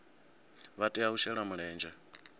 vha tea u shela mulenzhe